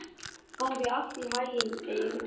Gangi þér allt í haginn, Eir.